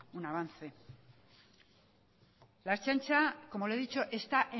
un avance la ertzaintza como le he dicho está